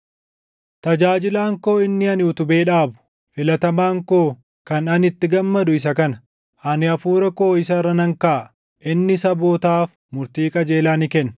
“Tajaajilaan koo inni ani utubee dhaabu, filatamaan koo kan ani itti gammadu isa kana; ani Hafuura koo isa irra nan kaaʼa; inni sabootaaf murtii qajeelaa ni kenna.